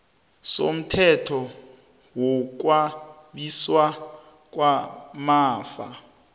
somthetho wokwabiwa kwamafa